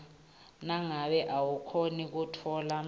nangabe awukhoni kutfola